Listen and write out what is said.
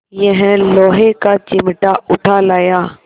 यह लोहे का चिमटा उठा लाया